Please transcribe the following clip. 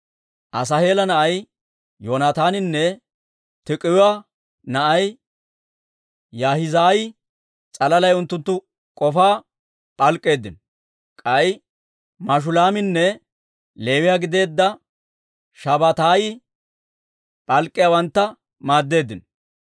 Asaaheela na'ay Yoonataaninne Tiik'iwaa na'ay Yaahizaayi s'alalay unttunttu k'ofaa p'alk'k'eeddino; k'ay Mashulaaminne Leewiyaa gideedda Shabbataayi p'alk'k'iyaawantta maaddeeddino.